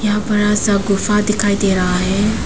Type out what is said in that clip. यहां बड़ा सा गुफा दिखाई दे रहा है।